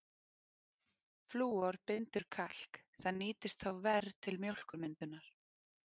Flúor bindur kalk, það nýtist þá verr til mjólkurmyndunar.